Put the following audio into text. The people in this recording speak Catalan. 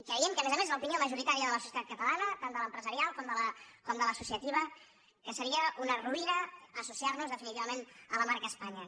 creiem a més a més que l’opinió majoritària de la societat catalana tant de l’empresarial com de l’associativa és que seria una ruïna associar nos definitivament a la marca espanya